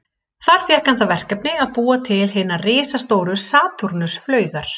Þar fékk hann það verkefni að búa til hinar risastóru Satúrnus-flaugar.